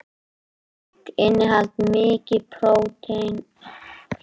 Egg innihalda mikið prótein, sem hefur einnig verið kallað prótín, eggjahvíta eða hvíta á íslensku.